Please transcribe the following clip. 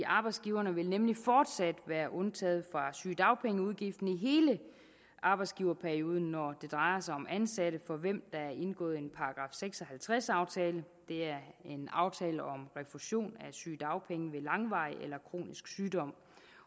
arbejdsgiverne vil nemlig fortsat være undtaget fra sygedagpengeudgiften i hele arbejdsgiverperioden når det drejer sig om ansatte for hvem der er indgået en § seks og halvtreds aftale det er en aftale om refusion af sygedagpenge ved langvarig eller kronisk sygdom